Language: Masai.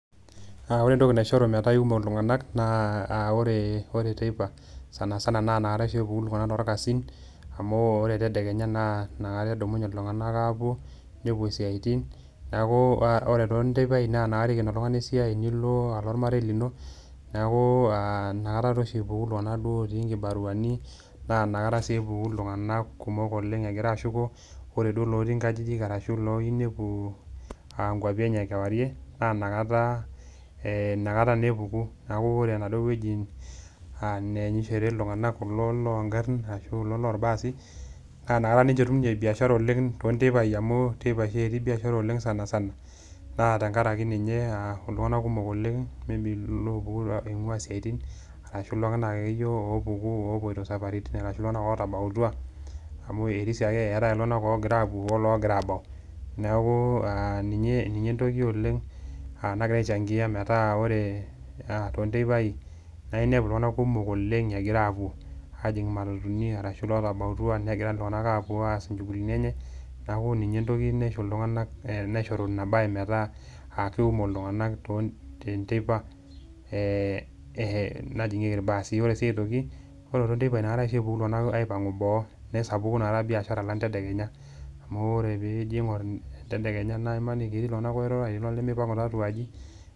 Ore entoki naishoru metaa ikumok iltunganak naa ore teipa sanisana inakata oshie epuku iltunganak torkasin amu or etedeenya naa inakata edumnye iltunganak apuo ,mepuo siaitin neeku ore toonteipai inakata eiken oltungani esiai nilo ormarei lino ,neeku inakataa naa oshi epuku iltunganak otii nkibaruani naa inakata sii epuku iltunganak kumok egira aashuko ,ore duo lotii nkajijik orashu liyieu nepuo nkwapi enye kaarie naa inakata naa epuku neeku ore enaduo weji neenhyishore iltunganak kulo loongarin ashu kulo lorbaasi naa inakata etum ninche biashara toonteipai amu inakata oshi etii biashara oleng sanisana. naa tenkaraki ninye iltunganak kumok oopuku oleng eingua siaitin orashu iltunganak akeyie opoitoi saparitin orashu iltunganak ootabautua amu erisio ake eetae iltunganak ogira apuo ologira abau ,neeku ninye entoki oleng nagira aichangia tonteipai naa inepu iltunganak kumok egira apuo ajing imatatuni netii lootabautua egira iltunganak apuo aas inchugulitin enye neeku ninye entoki naishori metaa keikumok iltunganak teneteipa najingieki irbaasi ,ore sii aitoki ore oshi toonteipai naa inakata epuku ltunganak boo amu inakata biashara alang tedekenya amu ore pee ingoru tendekenya etii iltunganak oirura etii lemipangu tiatuaji.